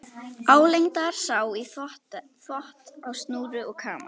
Álengdar sá í þvott á snúru og kamar.